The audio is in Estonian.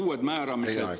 Teie aeg!